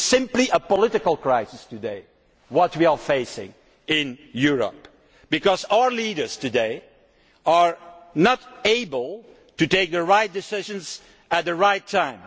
It is simply a political crisis that we face today in Europe, because our leaders today are unable to take the right decision at the right time.